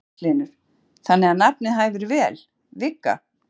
Magnús Hlynur: Þannig að nafnið hæfir vel, Vigga?